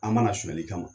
An mana sonyɛli kama